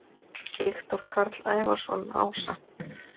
Viktor Karl Ævarsson ása